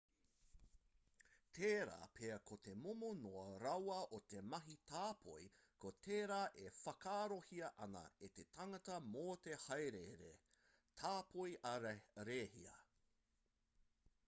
tērā pea ko te momo noa rawa o te mahi tāpoi ko tērā e whakaarohia ana e te tangata mō te hāereere tāpoi ā-rēhia